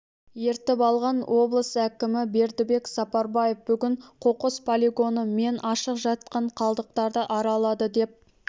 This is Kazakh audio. ертіп алған облыс әкімі бердібек сапарбаев бүгін қоқыс полигоны мен ашық жатқан қалдықтарды аралады деп